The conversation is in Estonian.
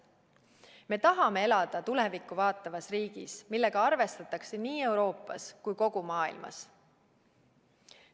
Me tahame elada tulevikku vaatavas riigis, millega arvestatakse nii Euroopas kui ka kogu maailmas.